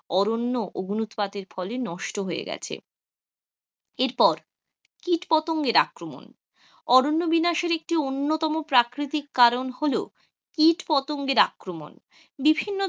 অরণ্য অগ্নি উৎপাতে ফলে নষ্ট হয়ে গেছে, এরপর কীট পতঙ্গের আক্রমণ অরণ্য বিনাশের একটি অন্যতম প্রাকৃতিক কারণ হল কীট পতঙ্গের আক্রমণ বিভিন্ন,